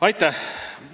Aitäh!